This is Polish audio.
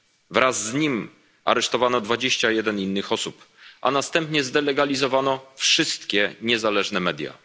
Wraz z nim aresztowano dwadzieścia jeden innych osób, a następnie zdelegalizowano wszystkie niezależne media.